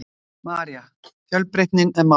María: Fjölbreytnin er málið?